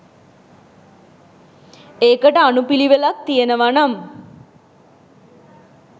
ඒකට අනු පිළිවෙලක් තියෙනවනම්